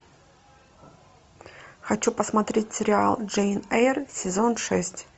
хочу посмотреть сериал джейн эйр сезон шесть